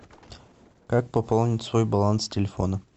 как пополнить свой баланс телефона